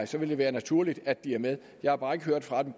så vil det være naturligt at de er med jeg har bare ikke hørt fra dem